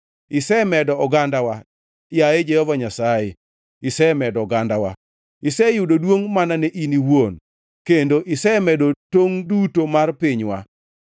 Isemedo ogandawa, yaye Jehova Nyasaye, isemedo ogandawa. Iseyudo duongʼ mana ne in iwuon; kendo isemedo tongʼ duto mar pinywa.